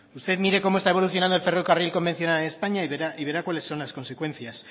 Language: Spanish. usted mire como está evolucionando el ferrocarril convencional en españa y verá cuales son las consecuencias